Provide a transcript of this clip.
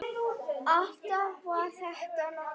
Allt var þetta nokkuð gott.